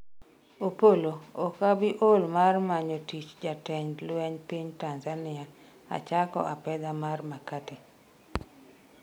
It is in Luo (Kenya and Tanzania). Opollo:ok abi ol mar manyo tich jatend lweny piny Tanzania achako apedha mar Makate,